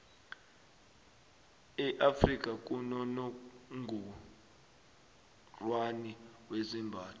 e afrika kunonongorwani wezembatho